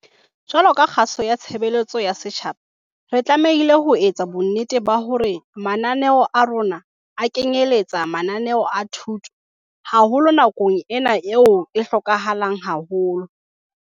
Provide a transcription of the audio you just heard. Jwalo ka kgaso ya tshebeletso ya setjhaba re tlamehile ho etsa bonnete ba hore mananeo a rona a kenyelletsa mananeo a thuto, haholo nakong ena eo e hlokahalang haholo.